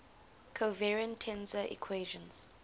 covariant tensor equations